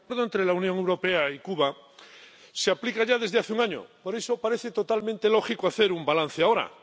Señor presidente, el Acuerdo entre la Unión Europea y Cuba se aplica ya desde hace un año. Por eso, parece totalmente lógico hacer un balance ahora.